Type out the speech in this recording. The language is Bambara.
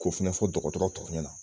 K'o fɛnɛ fɔ dɔgɔtɔrɔ tɔ ɲɛna